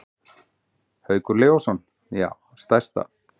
Haukur Leósson: Já stærsta.